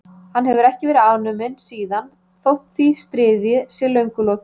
Hann hefur ekki verið afnuminn síðan þótt því stríði sé löngu lokið.